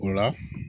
O la